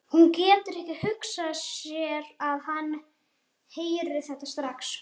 Hún getur ekki hugsað sér að hann heyri þetta strax.